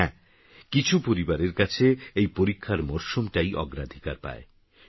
হ্যাঁ কিছুপরিবারেরকাছেএইপরীক্ষারমরশুমটাইঅগ্রাধিকারপায়